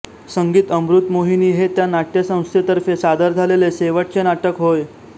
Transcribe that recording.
संगीत अमृतमोहिनी हे त्या नाट्यसंस्थेतर्फे सादर झालेले शेवटचे नाटक होय